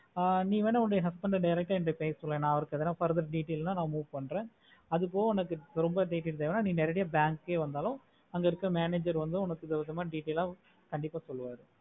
ஆஹ் நீ வெண்ண உங்க husband ஆஹ் direct ஆஹ் பேசுற ந எத்தனை futhur detail ந meet பண்ணுற அதுக்கு ரொம்ப பேஸ் இருந்தாங்கன்னா bank வந்தாலும் manager வந்து அங்க detail ஆஹ் சொல்லுவாரு